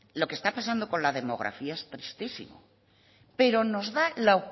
lo que está pasando con la demografía es tristísimo pero nos da la